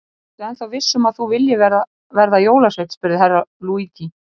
Ertu ennþá viss um að þú viljir verða jólasveinn spurði Herra Luigi.